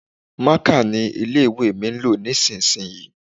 Maka ni ilé-ìwé mi ń lò nísinsìnyí.